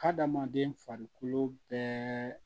Hadamaden farikolo bɛɛ